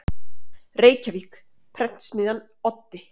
Reykjavík: Prentsmiðjan Oddi.